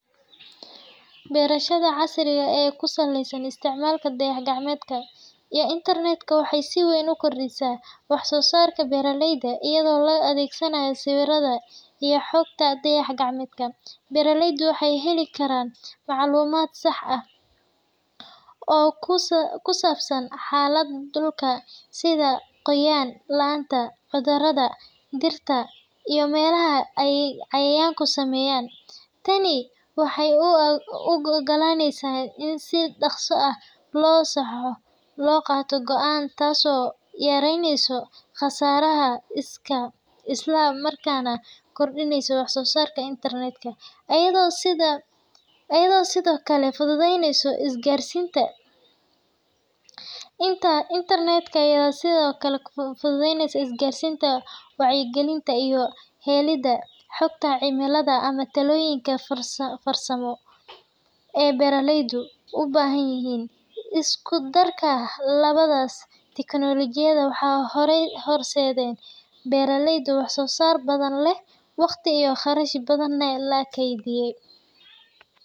Beerashada casriga ah ee ku saleysan isticmaalka dayax-gacmeedyada iyo internet-ka waxay si weyn u kordhisaa wax-soo-saarka beeraleyda. Iyadoo la adeegsanayo sawirrada iyo xogta dayax-gacmeedka, beeraleydu waxay heli karaan macluumaad sax ah oo ku saabsan xaaladda dhulka, sida qoyaan la’aanta, cudurrada dhirta, iyo meelaha ay cayayaanku saameeyeen. Tani waxay u oggolaaneysaa in si dhaqso ah oo sax ah loo qaato go’aanno, taasoo yaraynaysa khasaaraha isla markaana kordhinaysa wax-soo-saarka. Internet-ka ayaa sidoo kale fududeeya isgaarsiinta, wacyi-gelinta, iyo helidda xogta cimilada ama talooyinka farsamo ee beeraleydu u baahanyihiin. Isku darka labadaas tiknoolajiyad waxay horseedaan beero wax-soo-saar badan leh, waqti iyo kharash badanna la kaydiyo.